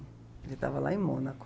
Ele estava lá em Mônaco.